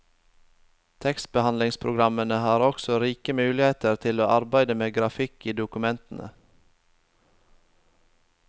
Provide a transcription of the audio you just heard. Tekstbehandlingspogrammene har også rike muligheter til å arbeide med grafikk i dokumentene.